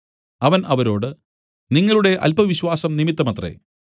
അവൻ അവരോട് നിങ്ങളുടെ അല്പവിശ്വാസം നിമിത്തമത്രേ